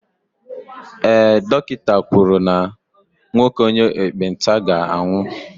ee, dọkịta kwuru na nwoke onye ekpenta ga-anwụ